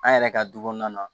An yɛrɛ ka du kɔnɔna na